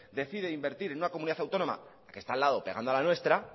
decide invertir en una comunidad autónoma que está al lado pegando a la nuestra